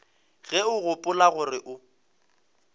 ge o gopola gore o